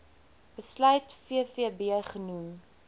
besluit vvb genoem